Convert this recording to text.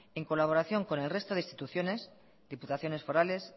en colaboración con el resto de instituciones diputaciones forales